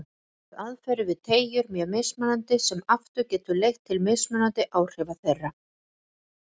Einnig eru aðferðir við teygjur mjög mismunandi sem aftur getur leitt til mismunandi áhrifa þeirra.